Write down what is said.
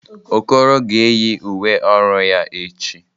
Okoro ga-eyi uwe ọrụ ya echi.